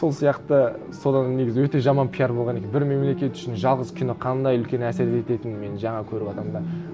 сол сияқты содан негізі өте жаман пиар болған екен бір мемлекет үшін жалғыз кино қандай үлкен әсер ететінін мен жаңа көріватырмын да